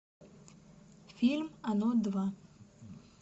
фильм оно два